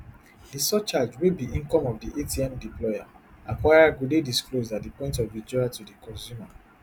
di surcharge wey be income of di atm deployeracquirer go dey disclosed at di point of withdrawal to di consumer